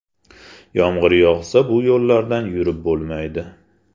Yomg‘ir yog‘sa bu yo‘llardan yurib bo‘lmaydi.